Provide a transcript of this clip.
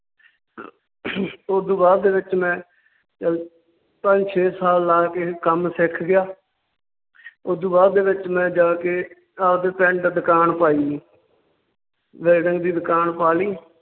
ਓਦੂ ਬਾਅਦ ਦੇ ਵਿੱਚ ਮੈਂ ਚੱਲ ਪੰਜ ਛੇ ਸਾਲ ਲਾ ਕੇ ਕੰਮ ਸਿੱਖ ਗਿਆ ਓਦੂ ਬਾਅਦ ਦੇ ਵਿੱਚ ਮੈਂ ਜਾ ਕੇ ਆਵਦੇ ਪਿੰਡ ਦੁਕਾਨ ਪਾਈ ਜੀ ਵੈਲਡਿੰਗ ਦੀ ਦਕਾਨ ਪਾ ਲਈ